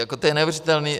To je neuvěřitelné.